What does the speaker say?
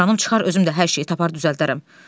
Canım çıxar özüm də hər şeyi tapar düzəldərəm.